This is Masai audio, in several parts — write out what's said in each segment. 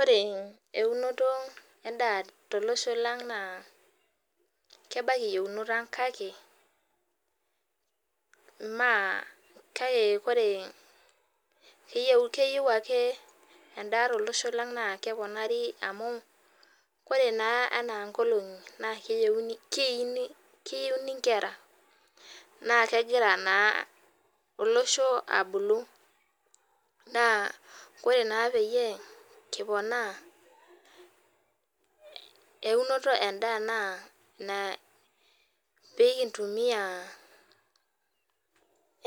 Ore eunoto endaa tolosho lang nakebaki yienoto aang kake keyieu ake endaa tolosho langa naore ena nkolongi leini nkera na ore na pikiponaa enoto endaa na pilintumia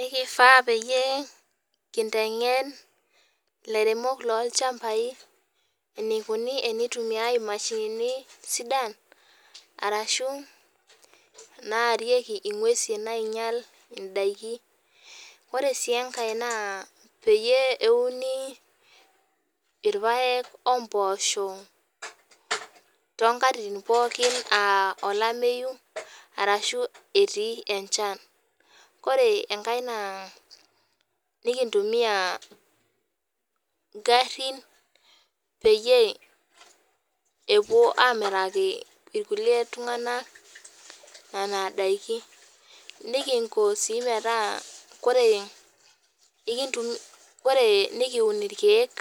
elifaa pekintengen ilairemok lorchambai enikuni temiitumieki indakin ore si enkae na peyie euni irpaek ompoosho aa olamyu ashu enchan ore enkae na pimitumia ngarin pekipuo amiraki ltunganak nona dakini nikun irkiek.